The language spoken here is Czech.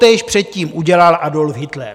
Totéž předtím udělal Adolf Hitler.